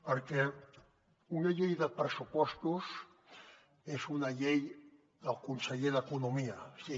perquè una llei de pressupostos és una llei del conseller d’economia sí